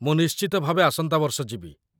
ମୁଁ ନିଶ୍ଚିତ ଭାବେ ଆସନ୍ତା ବର୍ଷ ଯିବି